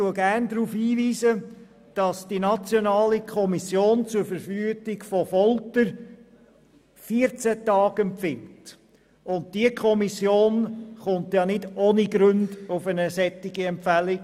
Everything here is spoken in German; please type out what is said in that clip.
Die Nationale Kommission zur Verhütung von Folter empfiehlt 14 Tage, und diese Kommission kommt nicht ohne Gründe auf eine solche Empfehlung.